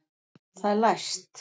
Það er læst!